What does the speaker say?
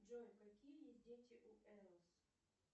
джой какие есть дети у эос